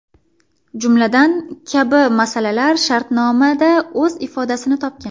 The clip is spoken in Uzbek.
Jumladan, kabi masalalar shartnomada o‘z ifodasini topgan.